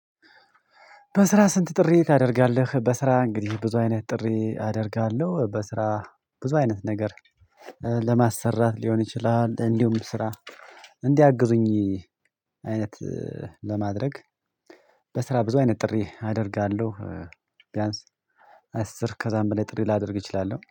በስራ ስንት? ጥሪ ታደርጋለህ በስራ እንግዲህ ብዙ አይነት ጥሪ አደርጋለሁ በስራ ብዙ አይነት ነገር ለማሰራት ሊሆን ይችላል። እንዲሁም ስራ እንዲያግዙኝ አይነት ለማድረግ በስራ ብዙ አይነት ጥሪ አደርጋለሁ። ቢያንስ አስር ከዛም በላይ ጥሪ ላደርግ እችላለሁ